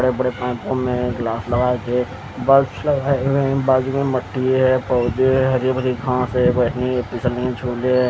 बड़े बड़े लगाए गए है बस ह बाज़ू में मिटटी है पौधे है हरे भरे घास है बैठने फिसलने क झूले ह--